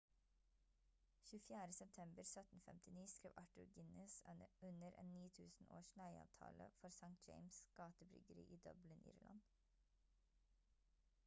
24. september 1759 skrev arthur guinness under en 9000-års leieavtale for st james' gate-bryggeri i dublin irland